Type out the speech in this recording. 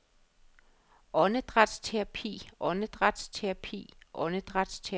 åndedrætsterapi åndedrætsterapi åndedrætsterapi